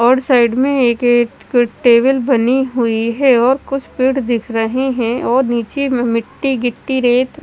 और साइड में एक गेट के टेबल बनी हुई है और कुछ पेड़ दिख रहे है और निचे में मिट्टी गिट्टी रेत --